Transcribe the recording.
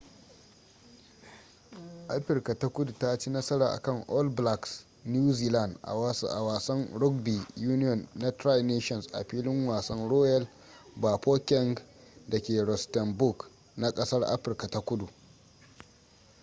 afirka ta kudu ta ci nasara akan all blacks new zealand a wasan rugby union na tri nations a filin wasan royal bafokeng dake rustenburg na kasar afirka ta kudu